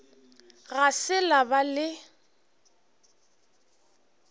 ga se la ba le